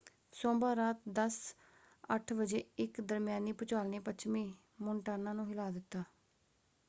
ਸੋਮਵਾਰ ਰਾਤ 10:08 ਵਜੇ ਇੱਕ ਦਰਮਿਆਨੀ ਭੂਚਾਲ ਨੇ ਪੱਛਮੀ ਮੋਨਟਾਨਾ ਨੂੰ ਹਿਲਾ ਦਿੱਤਾ।